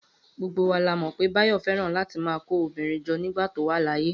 Gbogbo wa la mọ̀ pé Báyọ̀ fẹ́ràn láti máa kó obìnrin jọ nígbà tó wà láyé